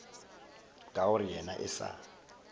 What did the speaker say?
ka gore yena e sa